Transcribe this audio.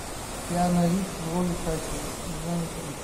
киану ривз в роли хакера название фильма